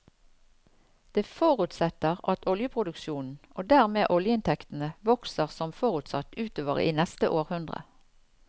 Det forutsetter at oljeproduksjonen og dermed oljeinntektene vokser som forutsatt utover i neste århundre.